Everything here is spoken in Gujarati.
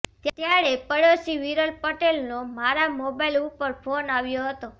ત્યારે પડોશી વિરલ પટેલનો મારા મોબાઇલ ઉપર ફોન આવ્યો હતો